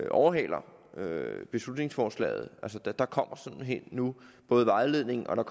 overhaler beslutningsforslaget der kommer simpelt hen nu både vejledning og